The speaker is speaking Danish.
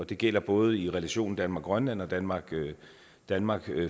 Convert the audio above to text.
det gælder både i relationen danmark grønland og danmark danmark